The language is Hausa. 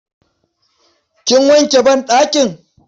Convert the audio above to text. Kin wanke banɗakin?